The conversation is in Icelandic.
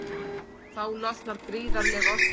Þá losnar gríðarleg orka.